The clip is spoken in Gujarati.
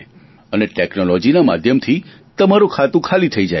અને ટેકનોલોજીના માધ્યમથી તમારું ખાતું ખાલી થઈ જાય છે